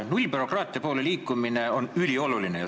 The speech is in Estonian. Nullbürokraatia poole liikumine on ülioluline.